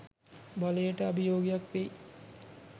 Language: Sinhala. බලයට අභියෝගයක් වෙයි.